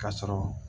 Ka sɔrɔ